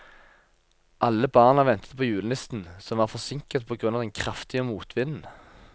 Alle barna ventet på julenissen, som var forsinket på grunn av den kraftige motvinden.